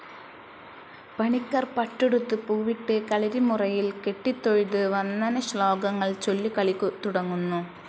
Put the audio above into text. പണിക്കർ പട്ടുടുത്ത് പൂവിട്ട് കളരിമുറയിൽ കെട്ടിത്തൊഴുത് വന്ദനശ്ലോകങ്ങൾ ചൊല്ലി കളി തുടങ്ങുന്നു.